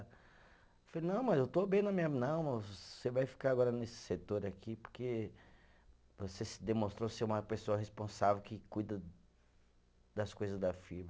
Falei, não, mas eu estou bem na minha. Não, mas você vai ficar agora nesse setor aqui porque você se demonstrou ser uma pessoa responsável que cuida das coisas da firma.